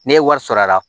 Ne ye wari sɔrɔ a la